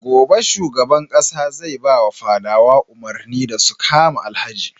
Gobe shugaban ƙasa zai bawa fadawa umarni da su kama Alhaji.